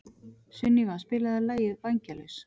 Sunníva, spilaðu lagið „Vængjalaus“.